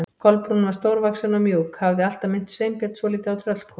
Kolbrún var stórvaxin og mjúk, hafði alltaf minnt Sveinbjörn svolítið á tröllkonu.